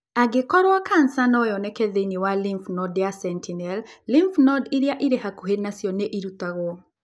Angĩkorũo kanca no yoneke thĩinĩ wa lymph node ya sentinel, lymph node iria irĩ hakuhĩ o nacio nĩ ĩrutagwo.